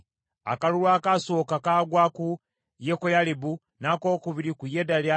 Akalulu akaasooka kaagwa ku Yekoyalibu, n’akokubiri ku Yedaya,